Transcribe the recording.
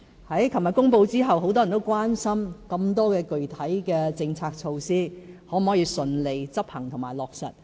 昨天公布施政報告後，很多人關心，具體的政策措施有那麼多，是否都可以順利執行和落實。